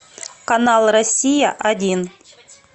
канал россия один